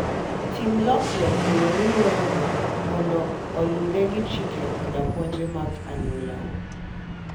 Tim lokruok e yo miwuoyogo mondo oluwre gi chike koda puonj mag anyuolau.